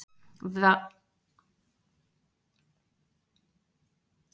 Væru þeir nær hver öðrum gæti fólk ekki gert greinarmun á táknunum með einni snertingu.